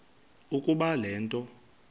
ukuba le nto